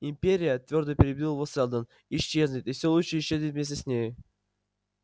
империя твёрдо перебил его сэлдон исчезнет и всё лучшее исчезнет вместе с ней